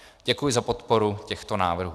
Děkuji za podporu těchto návrhů.